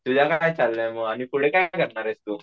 तुझं काय चालले आहे मग आणि पुढे काय करणारेस तू?